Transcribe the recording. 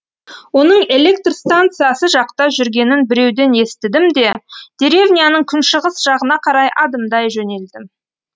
оның электр станциясы жақта жүргенін біреуден естідім де деревняның күншығыс жағына қарай адымдай жөнелдім